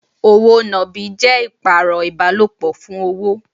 Òwò nàbì jẹ́ ìpààrọ̀ ìbálòpọ̀ fún owó.